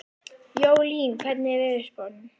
Jólín, hvernig er veðurspáin?